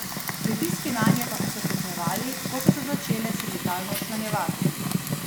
Pritiski nanje pa so se stopnjevali, ko so se začele sindikalno včlanjevati.